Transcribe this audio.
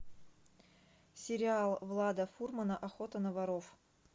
сериал влада фурмана охота на воров